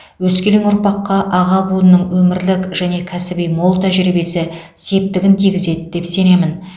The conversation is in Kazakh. өскелең ұрпаққа аға буынның өмірлік және кәсіби мол тәжірибесі септігін тигізеді деп сенемін